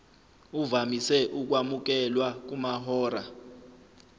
uvamise ukwamukelwa kumahora